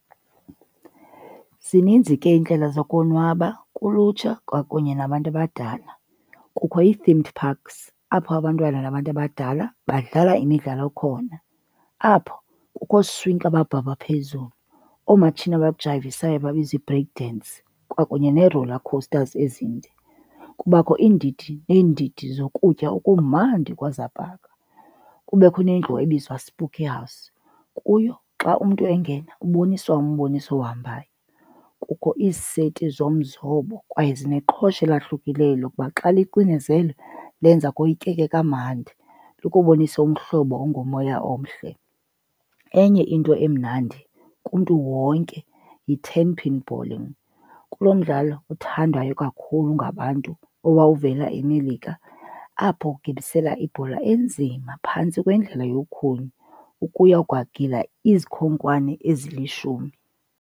Zininzi ke iindlela zokonwaba kulutsha kwakunye nabantu abadala. Kukho ii-themed parks apho abantwana nabantu abadala badlala imidlalo khona. Apho kukho ooswinki ababhabha phezulu, oomatshini abajayivisayo ababizwa ii-break dance kwakunye nee-roller coasters ezinde. Kubakho iindidi neendidi zokutya okumandi kwezaa paka. Kubekho nendlu ebizwa spookie house, kuyo xa umntu engena uboniswa umboniso ohambayo. Kukho iiseti zomzobo kwaye zineqhosha elahlukileyo lokuba xa licinezelwe lenza koyikeke kamandi, lukubonise umhlobo ongumoya omhle. Enye into emnandi kumntu wonke yi-ten pin bowling. Kulo mdlalo othandwayo kakhulu ngabantu owawuvela eMelika, apho ugibisela ibhola enzima phantsi kwendlela ukuya kwagila izikhonkwane ezilishumi.